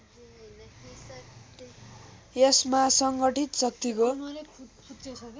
यसमा सङ्गठित शक्तिको